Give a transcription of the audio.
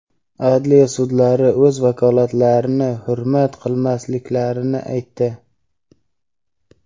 adliya sudlari o‘z vakolatlarini hurmat qilmasliklarini aytdi.